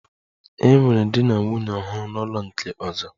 E nwere di na nwunye ọhụrụ n'ụlọ nke ọzọ